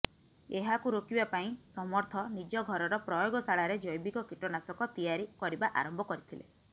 ଏହାକୁ ରୋକିବା ପାଇଁ ସମର୍ଥ ନିଜ ଘରର ପ୍ରୟୋଗଶାଳାରେ ଜୈବିକ କୀଟନାଶକ ତିଆରି କରିବା ଆରମ୍ଭ କରିଥିଲେ